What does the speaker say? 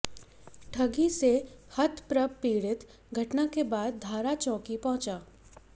ठगी से हतप्रभ पीडि़त घटना के बाद धारा चौकी पहुंचा